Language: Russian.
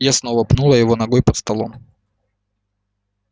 я снова пнула его ногой под столом